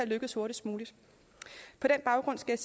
lykkes hurtigst muligt på den baggrund skal